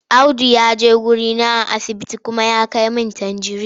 Audu ya je wurina a asibiti kuma ya kai min tanjirin.